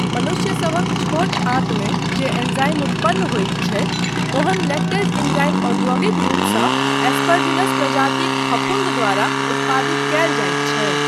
मनुष्यसभक छोट आँतमे जे एंजाइम उत्पन्न होइत छै, ओहन लैक्टेज एंजाइम औद्योगिक रूपसँ एस्परजिलस प्रजातिक फफुन्द द्वारा उत्पादित कयल जाइत छै।